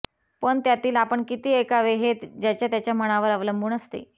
पण त्यातील आपण किती ऐकावे हे ज्याच्या त्याच्या मनावर अवलंबून असते